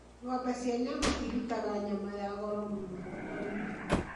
Ng'ombe cia nyama irutaga nyama ya goro mũno thoko-inĩ.